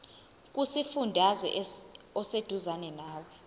kusifundazwe oseduzane nawe